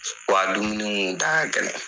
Wa dumuni kun da ka gɛlɛn.